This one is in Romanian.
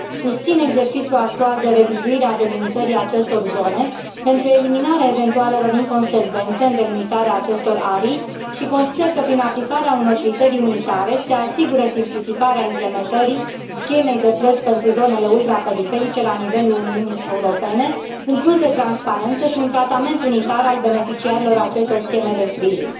Susțin exercițiul actual de revizuire a delimitării acestor zone pentru eliminarea eventualelor inconsecvențe în delimitarea acestor arii și consider că, prin aplicarea unor criterii unitare, se asigură simplificarea implementării schemei de plăți pentru zonele ultraperiferice la nivelul Uniunii Europene, un plus de transparență și un tratament unitar al beneficiarilor acestor scheme de sprijin.